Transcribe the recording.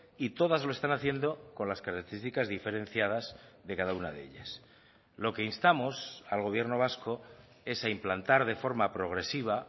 y todas lo están haciendo con las características diferenciadas de cada una de ellas lo que instamos al gobierno vasco es a implantar de forma progresiva